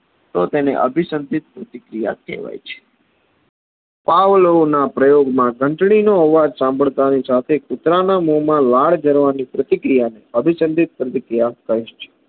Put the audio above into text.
તો તેને અભિસાન્દીપ પ્રતિક્રિયાકહેવાય છે. પાવલોયોના પ્રયોગ માં ઘનટનો અવાજ સાંભળતા ની સાથે કુતરાના મોમાં લાળ ની પ્રતિક્રિયાને અભિસાન્દીપ પ્રતિક્રિયા કહે છે.